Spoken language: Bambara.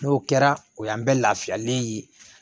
N'o kɛra o y'an bɛ lafiyalen ye